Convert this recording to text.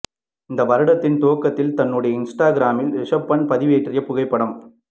இந்த வருடத்தின் துவக்கத்தில் தன்னுடைய இன்ஸ்டாகிராமில் ரிஷப் பாண்ட் பதிவேற்றிய புகைப்படம்